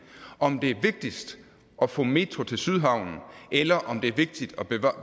om det er vigtigst at få metroen til sydhavnen eller om det er